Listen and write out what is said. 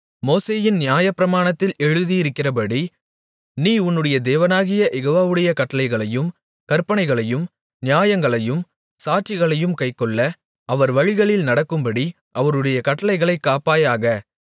மோசேயின் நியாயப்பிரமாணத்தில் எழுதியிருக்கிறபடி நீ உன்னுடைய தேவனாகிய யெகோவாவுடைய கட்டளைகளையும் கற்பனைகளையும் நியாயங்களையும் சாட்சிகளையும் கைக்கொள்ள அவர் வழிகளில் நடக்கும்படி அவருடைய கட்டளைகளைக் காப்பாயாக